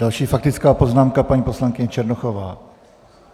Další faktická poznámka, paní poslankyně Černochová.